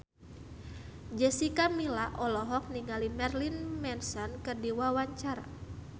Jessica Milla olohok ningali Marilyn Manson keur diwawancara